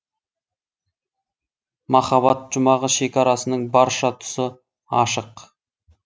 махаббат жұмағы шекарасының барша тұсы ашық